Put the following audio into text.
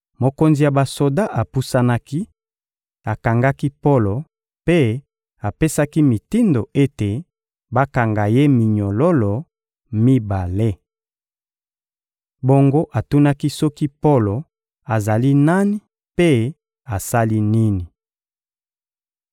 Mokonzi ya basoda apusanaki, akangaki Polo mpe apesaki mitindo ete bakanga ye minyololo mibale. Bongo atunaki soki Polo azali nani mpe asali nini.